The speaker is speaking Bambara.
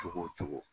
Cogo o cogo